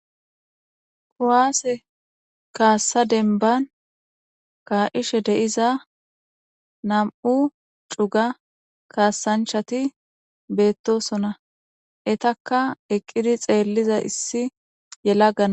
Kuwasse kassa demibbani ka'ishe deyiza namu'u cugga kasanichati betossona, enittaka eqidi xeliya issi yalaga na'i